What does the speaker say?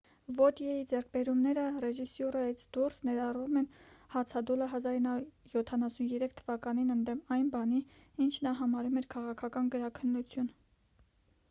վոտյեի ձեռքբերումները ռեժիսյուրայից դուրս ներառում են հացադուլը 1973 թվականին ընդդեմ այն բանի ինչ նա համարում էր քաղաքական գրաքննություն